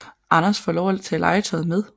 Anders får lov at tage et legetøj med